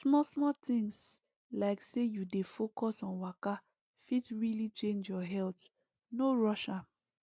smallsmall things like say you dey focus on waka fit really change your health no rush am